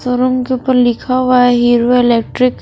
Showroom के ऊपर पर लिखा हुआ है हीरो इलेक्ट्रिक ।